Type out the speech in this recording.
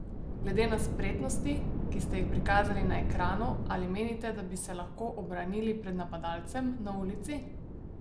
Glede na spretnosti, ki ste jih prikazali na ekranu, ali menite, da bi se lahko ubranili pred napadalcem na ulici?